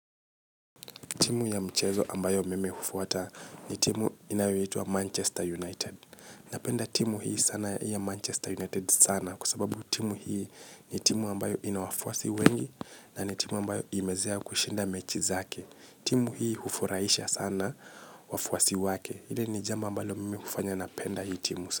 Timu ya mchezo ambayo mimi hufuwata ni timu inayoyitua Manchester United. Napenda timu hii sana ya Manchester United sana kusababu timu hii ni timu ambayo inawafuwasi wengi na ni timu ambayo imezea kushinda mechi zake. Timu hii hufuraisha sana wafuwasi wake. Hile ni jambo ambalo mimi hufanya napenda hii timu sana.